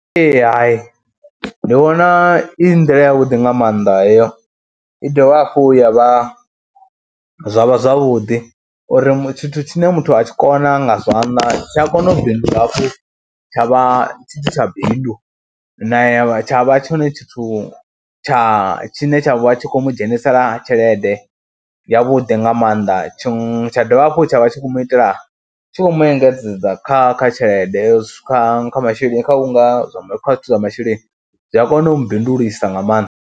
Ee hai, ndi vhona i nḓila yavhuḓi nga maanḓa heyo i dovha hafhu ya vha, zwa vha zwavhuḓi uri tshithu tshine muthu a tshi kona nga zwanḓa tshi a kona u bindula hafhu tsha vha tshi tshi tsha bindu na tsha vha tshone tshithu tsha tshine tsha vha tshi khou mu dzhenisela tshelede yavhuḓi nga maanḓa. Tshiṅwe tsha dovha hafhu tsha vha tshi khou mu itela tshi khou mu engedzedza kha kha tshelede kha masheleni kha u nga kha zwithu zwa masheleni zwi a kona u mu bindulisa nga maanḓa.